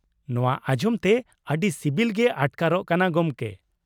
ᱱᱚᱶᱟ ᱟᱸᱡᱚᱢ ᱛᱮ ᱟᱹᱰᱤ ᱥᱤᱵᱤᱞ ᱜᱮ ᱟᱴᱠᱟᱨᱚᱜ ᱠᱟᱱᱟ ᱜᱚᱢᱠᱮ ᱾